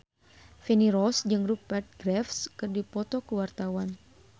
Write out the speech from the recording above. Feni Rose jeung Rupert Graves keur dipoto ku wartawan